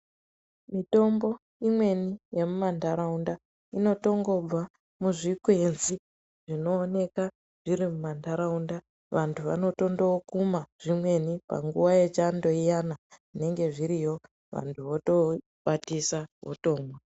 Mitombo imweni yemu mandaraunda inoto ngobva muzvi kwenzi zvino oneka zviri mu mandaraunda vantu vano tondo kuma zvimweni panguva ye chando iyana zvinenge zviriyo vantu voto kwatisa votomwa.